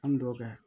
An dɔw ka